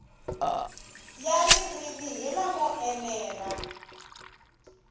ya ririmi hi lamo enela